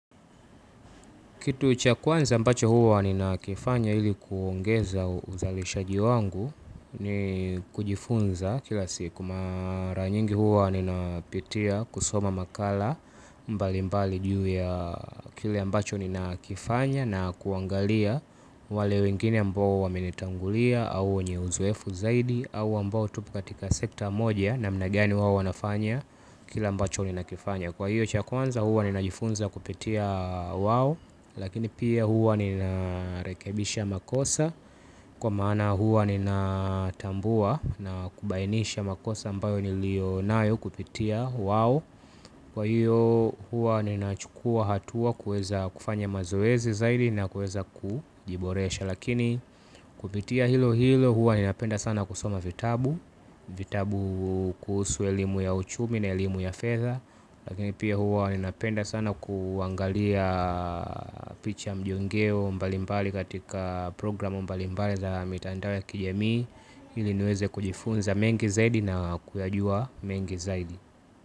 Kitu cha kwanza mbacho huwa nina kifanya ili kuongeza uzalishaji wangu ni kujifunza kila siku mara nyingi huwa nina pitia kusoma makala mbali mbali juu ya kile ambacho nina kifanya na kuangalia wale wengine ambao waminitangulia au wenye uzoefu zaidi au ambao tupu katika sekta moja namna gani huwa wanafanya kila ambacho nina kifanya. Kwa hiyo cha kwanza huwa ninajifunza kupitia wao. Lakini pia huwa nina rekebisha makosa. Kwa maana huwa nina tambua na kubainisha makosa ambayo niliyo nayo kupitia wao. Kwa hiyo huwa nina chukua hatua kuweza kufanya mazoezi zaidi na kuwea kujiboresha. Lakini kupitia hilo hilo huwa nina penda sana kusoma vitabu. Vitabu kuhusu elimu ya uchumi na elimu ya fedha. Lakini pia huwa ninapenda sana kuangalia picha mjongeo mbalimbali katika programu mbalimbali za mitandao za kijamii. Ili niweze kujifunza mengi zaidi na kuyajua mengi zaidi.